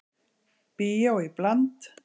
Bíó í bland